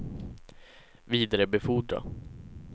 vidarebefordra